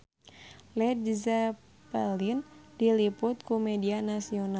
Led Zeppelin diliput ku media nasional